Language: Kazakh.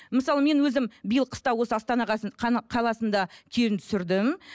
мысалы мен өзім биыл қыста осы астана қаласында келін түсірдім